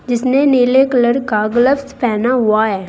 इसने नीले कलर का ग्लव्स पहना हुआ है।